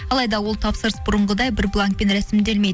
алайда ол тапсырыс бұрынғыдай бір бланкпен рәсімделмейді